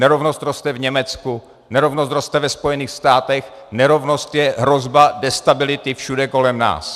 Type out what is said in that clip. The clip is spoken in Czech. Nerovnost roste v Německu, nerovnost roste ve Spojených státech, nerovnost je hrozba destability všude kolem nás.